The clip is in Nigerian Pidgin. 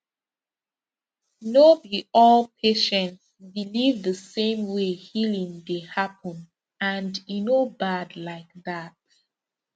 no be all patients believe the same way healing dey happen and e no bad like that